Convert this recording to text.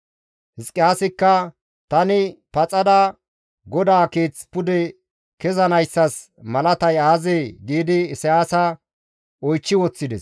Hizqiyaasikka, «Tani paxada GODAA Keeth pude kezanayssas malatay aazee?» giidi Isayaasa oychchi woththides.